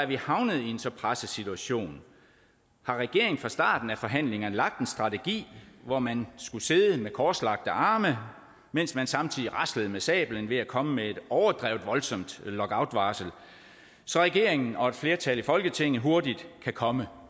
vi er havnet i en så presset situation har regeringen fra starten af forhandlingerne lagt en strategi hvor man skulle sidde med korslagte arme mens man samtidig raslede med sablen ved at komme med et overdrevet voldsomt lockoutvarsel så regeringen og et flertal i folketinget hurtigt kan komme